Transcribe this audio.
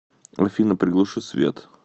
афина приглуши свет